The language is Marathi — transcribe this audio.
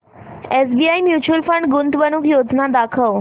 एसबीआय म्यूचुअल फंड गुंतवणूक योजना दाखव